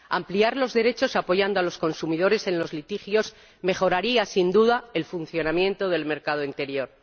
Ampliar los derechos apoyando a los consumidores en los litigios mejoraría, sin duda, el funcionamiento del mercado interior.